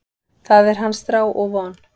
Það er hans þrá og von.